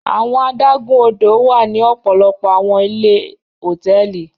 Awọn adagun-odo wa ni ọpọlọpọ awọn ile hotẹẹli.